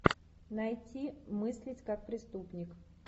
найти мыслить как преступник